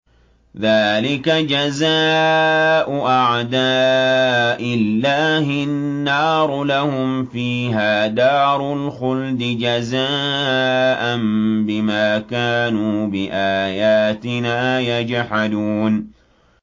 ذَٰلِكَ جَزَاءُ أَعْدَاءِ اللَّهِ النَّارُ ۖ لَهُمْ فِيهَا دَارُ الْخُلْدِ ۖ جَزَاءً بِمَا كَانُوا بِآيَاتِنَا يَجْحَدُونَ